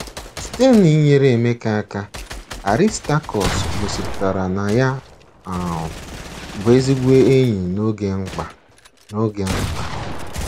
Site n'inyere Emeka aka, Aristakọs gosipụtara na ya um bụ ezigbo enyi n'oge mkpa. n'oge mkpa.